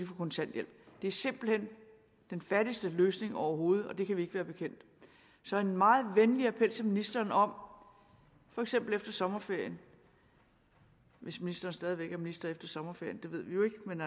få kontanthjælp det er simpelt hen den fattigste løsning overhovedet og det kan vi ikke være bekendt så en meget venlig appel til ministeren om for eksempel efter sommerferien hvis ministeren stadig væk er minister efter sommerferien det ved vi jo ikke men